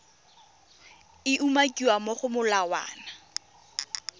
e umakiwang mo go molawana